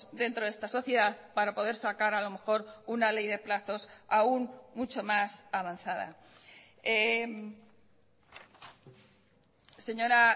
dentro de esta sociedad para poder sacar a lo mejor una ley de plazos aún mucho más avanzada señora